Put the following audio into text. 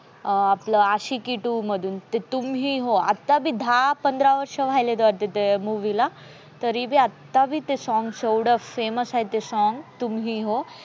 अं आपल्या आशिकी two मधून तुम ही हो आता बी दाहा-पंधरा वर्ष व्हायले वाटते त्या movie ला तरी बी आता बी ते songs एवड famous आहे. तुम ही हो